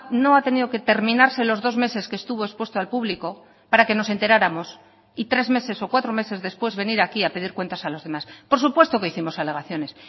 no ha tenido que terminarse los dos meses que estuvo expuesto al público para que nos enteráramos y tres meses o cuatro meses después venir aquí a pedir cuentas a los demás por supuesto que hicimos alegaciones